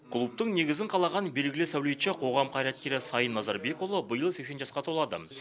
клубтың негізін қалаған белгілі сәулетші қоғам қайраткері сайын назарбекұлы биыл сексен жасқа толады